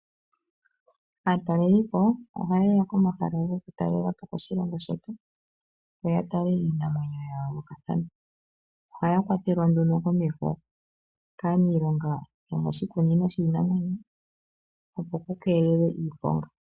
Aatalelipo ohayeya komahala goku talelapo moshilongo shetu yo ya tale iinamwenyo ya yoolokathana ohaya kwatelwa nduno komeho kaaniilonga yomoshikunino shiinamwenyo opo ku keelelwe iiponga.